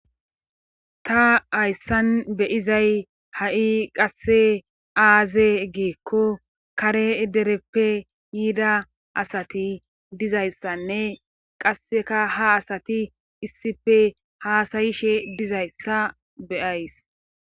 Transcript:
ta hayssan be7izay ha7i qasse aaze giikko kare dereppe yiida asati dizayssanne qasseka ha asati issife haasayishe dizayssa be7ays.